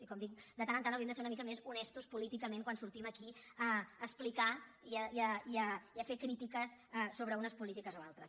i com dic de tant en tant hauríem de ser una mica més honestos políticament quan sortim aquí a explicar i a fer crítiques sobre unes polítiques o altres